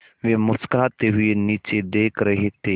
वे मुस्कराते हुए नीचे देख रहे थे